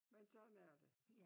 Men sådan er det